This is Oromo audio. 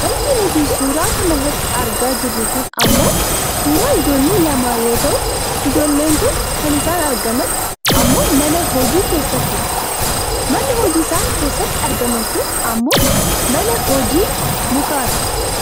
Wanti nuti suuraa kanarratti argaa jirru kun ammoo suuraa ijoollee lamaa yoo ta'u, ijoolleen kun kan isaan argaman ammoo mana hojii keessatti dha. Manni hojii isaan keessatti argaman kun ammoo Mana hojii mukaati.